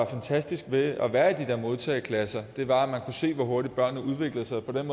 fantastiske ved at være i de her modtageklasser var at man kunne se hvor hurtigt børnene udviklede sig på den